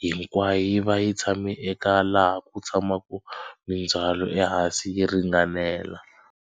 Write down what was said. hinkwayo yi va yi tshame eka laha ku tshamaka mindzhwalo ehansi yi ringanela.